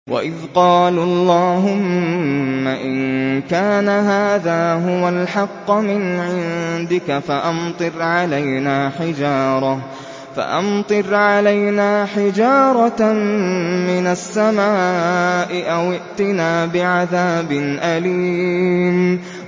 وَإِذْ قَالُوا اللَّهُمَّ إِن كَانَ هَٰذَا هُوَ الْحَقَّ مِنْ عِندِكَ فَأَمْطِرْ عَلَيْنَا حِجَارَةً مِّنَ السَّمَاءِ أَوِ ائْتِنَا بِعَذَابٍ أَلِيمٍ